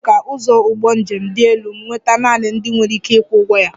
E mere ka ụzọ ụgbọ njem dị elu nweta naanị ndị nwere ike ịkwụ ụgwọ ya